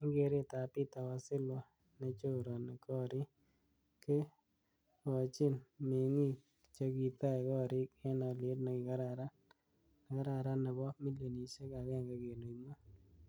Eng keret ab Peter Wasilwa nechorani korik, kekochin mingi'ik chekitai korik eng aliet nikararan nebo milionishek 1.5.